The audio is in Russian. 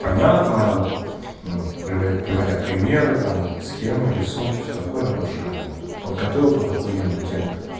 понятно ну приводя примеры там схемы рисунки всё такое уже как бы вот подготовил кто то ахуенную тему